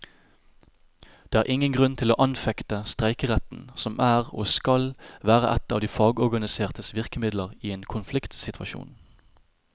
Det er ingen grunn til å anfekte streikeretten, som er og skal være et av de fagorganisertes virkemidler i en konfliktsituasjon.